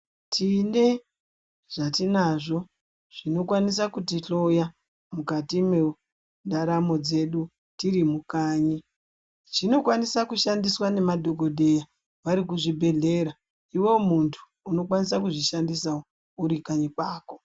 Tine zvatinazvo zvinokwanisa kutihloya mukati mendaramo dzedu tiri mukanyi zvinokwanisa kushandiswa memadogodheya varikuzvibhedhleya ivo muntu unokwanisa kuzvishandisawo uri kanyi kwako.